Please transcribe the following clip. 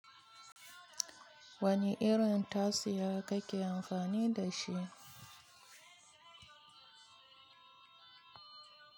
Wani irin tasiya kake amfani da shi?